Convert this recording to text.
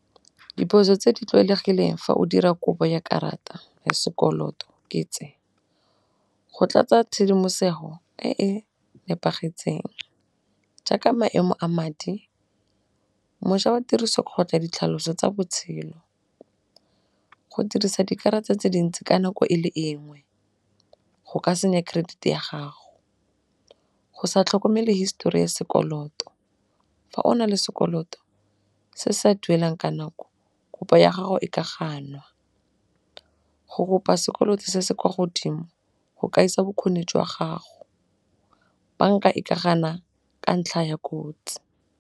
Diphoso tse di tlwaelegileng fa o dira kopo ya karata ya sekoloto ke tse, go tlatsa tshedimosego e e nepagetseng jaaka maemo a madi. Mošwa wa tiriso kgotsa ditlhaloso tsa botshelo, go dirisa dikarata tse dintsi ka nako e le engwe go ka senya credit-e ya gago. Go sa tlhokomele hisetori ya sekoloto fa o na le sekoloto se sa duelwang ka nako kopo ya gago e ka ganwa, go kopa sekoloto se se kwa godimo go ka isa bokgoni jwa gago. Banka e ka gana ka ntlha ya kotsi.